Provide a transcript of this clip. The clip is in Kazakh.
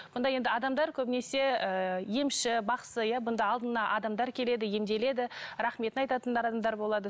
онда енді адамдар көбінесе ыыы емші бақсы иә бұнда алдына адамдар келеді емделеді рахметін айтатын да адамдар болады